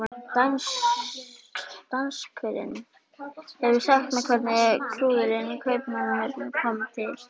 Danskurinn hefur sagt mér hvernig klúðrið í Kaupmannahöfn kom til.